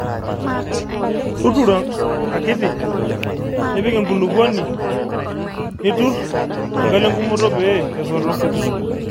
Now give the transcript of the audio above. Tuturo akiti nipik enkulupuok nituru enkalo engumoto pee esoto